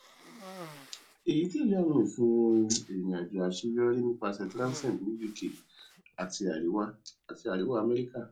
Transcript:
eyi tẹle awọn ifihan irinajo aṣeyọri nipasẹ transnet ni uk ati ariwa ati ariwa america